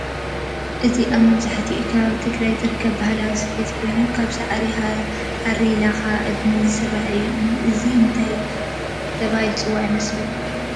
እዚ አብ መብዘሐትኡ ከባቢ ትግራይ ዝርከብ ባህላዊ ስፌት ኮይኑ ካብ ሳዕሪ፣ ሃሪ፣ ላኻ፣ እድኒ ዝስራሕ እዩ። እንታይ ተበሃይሉ ዝፅዋዕ ይመስለኩም ንስኹም ከ?